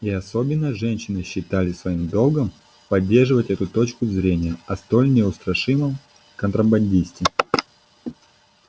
и особенно женщины считали своим долгом поддерживать эту точку зрения о столь неустрашимом контрабандисте